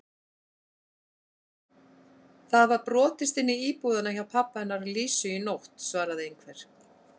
Það var brotist inn í búðina hjá pabba hennar Lísu í nótt svaraði einhver.